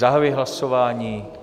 Zahajuji hlasování.